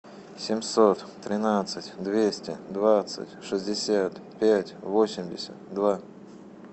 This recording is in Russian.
семьсот тринадцать двести двадцать шестьдесят пять восемьдесят два